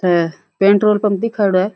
है petrol pump दीखेड़ो है।